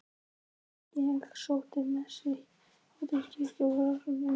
Ég sótti messur í Háteigskirkju sem var sóknarkirkjan mín.